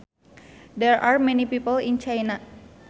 There are many people in China